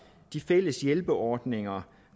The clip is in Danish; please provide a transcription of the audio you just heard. de fælles hjælperordninger